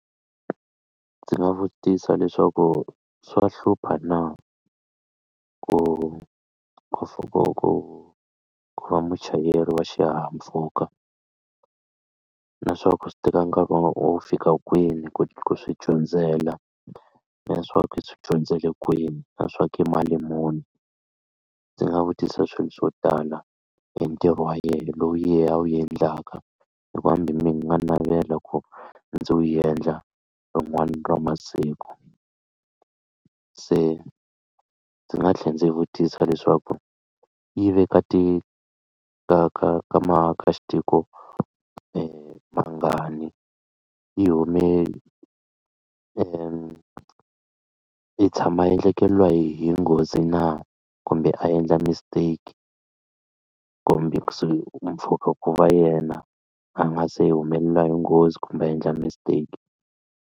Ndzi nga vutisa leswaku swa hlupha na ku ku ku ku va muchayeri wa xihahampfhuka na swa ku swi teka nkarhi wo fika kwini ku swi dyondzela na swa ku swi dyondzele kwini na swa ku i mali muni ndzi nga vutisa swilo swo tala hi ntirho wa yehe lowu yehe a wu endlaka hikuva hambi mina ni nga navela ku ndzi wu yendla rin'wana ra masiku se ndzi nga tlhela ndzi vutisa leswaku yi veka ti ka ka ka ka xitiko mangani yi hume i tshama a endlekeriwa hi hi nghozi na kumbe a endla mistake kumbe kusuhi mpfhuka ku va yena a nga se hi humeleliwa hi nghozi kumbe a endla mistake.